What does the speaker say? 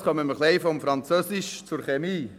Jetzt kommen wir etwas vom Französisch zur Chemie.